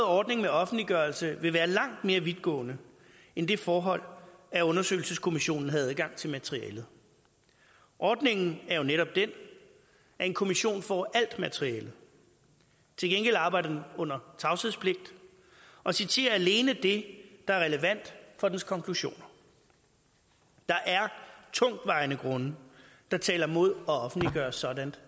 ordning med offentliggørelse vil være langt mere vidtgående end det forhold at undersøgelseskommissionen havde adgang til materialet ordningen er jo netop den at en kommission får alt materialet til gengæld arbejder den under tavshedspligt og citerer alene det der er relevant for dens konklusioner der er tungtvejende grunde der taler imod at offentliggøre sådant